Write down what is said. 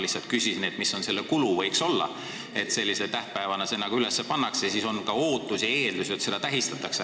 Ma küsisin lihtsalt, mis võiks olla see kulu, sest kui see sellise tähtpäevana üles pannakse, siis on ka ootus ja eeldus, et seda tähistatakse.